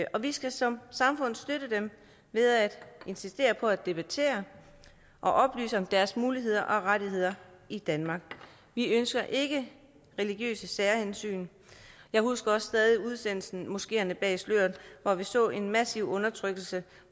og vi skal som samfund støtte dem ved at insistere på at debattere og oplyse om deres muligheder og rettigheder i danmark vi ønsker ikke religiøse særhensyn jeg husker også stadig tv udsendelsen moskeerne bag sløret hvor vi så en massiv undertrykkelse